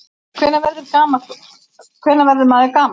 Hvenær verður maður gamall?